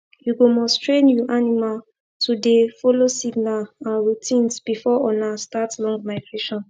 you go must train you animal to dey follow signer and routines before ona start long migration